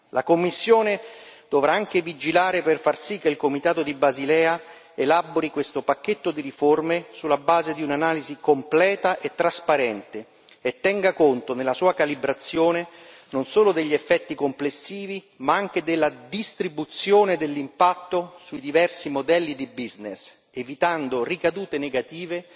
La Commissione dovrà anche vigilare per far sì che il Comitato di Basilea elabori questo pacchetto di riforme sulla base di un'analisi completa e trasparente e tenga conto, nella sua calibrazione, non solo degli effetti complessivi ma anche della distribuzione dell'impatto sui diversi modelli di business evitando ricadute negative,